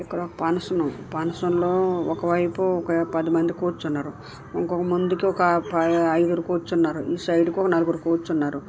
ఇక్కడ ఒక మనసులో ఒకవైపు ఒక పది మంది కూర్చున్నారు ఇంకొక ముందుకి ఒక ఐదు కూర్చున్నారు. ఈ సైడుకు నలుగురు కూర్చున్నారు.